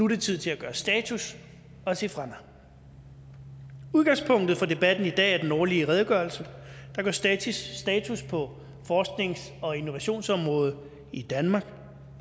det tid til at gøre status og se fremad udgangspunktet for debatten i dag er den årlige redegørelse der gør status på forsknings og innovationsområdet i danmark her